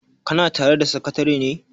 kana tare da sakatare ne?